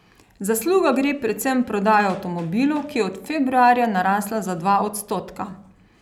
Zasluga gre predvsem prodaji avtomobilov, ki je od februarja narasla za dva odstotka.